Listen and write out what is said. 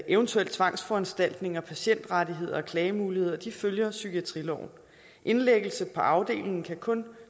eventuelle tvangsforanstaltninger patientrettigheder og klagemuligheder følger psykiatriloven indlæggelse på afdelingen kan kun